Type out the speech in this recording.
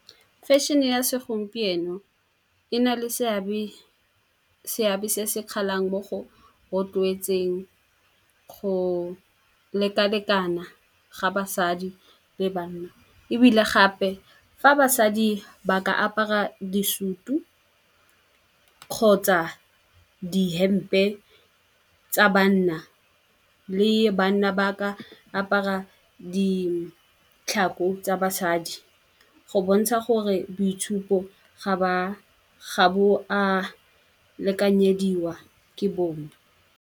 Fashion-e ya segompieno e na le seabe se se kgalang mo go rotloetseng go lekalekana ga basadi le banna. Ebile gape fa basadi ba ka apara disutu kgotsa dihempe tsa banna le banna, ba ka apara ditlhako tsa basadi go bontsha gore boitshupo ga bo a lekanyediwa ke bongwe.